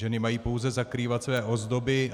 Ženy mají pouze zakrývat své ozdoby.